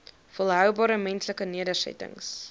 volhoubare menslike nedersettings